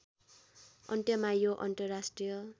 अन्त्यमा यो अन्तर्राष्ट्रिय